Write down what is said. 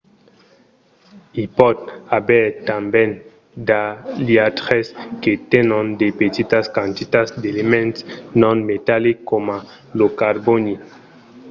i pòt aver tanben d’aliatges que tenon de petitas quantitats d’elements non-metallics coma lo carbòni